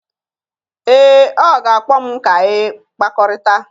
Ee, ọ ga-akpọ m ka anyị kpakọrịta